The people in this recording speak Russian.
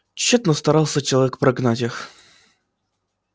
тщетно старался человек прогнать их